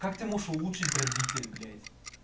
как ты можешь улучшить дробитель блядь